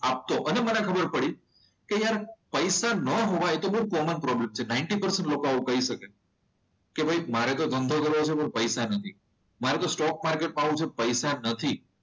આપતો અને મને ખબર પડી કે યાર પૈસા ન હોય તો બહુ કોમન પ્રોબ્લેમ છે, નાઈનટી ટકા લોકો આવું કહી શકે છે. કે મારે તો ધંધો કરવો છે પણ પૈસા નથી મારે તો સ્ટોક માર્કેટમાં પડવું છે પણ પૈસા નથી.